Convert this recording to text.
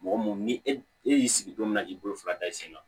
Mɔgɔ mun ni e y'i sigi don min na k'i bolo fila da i sen kan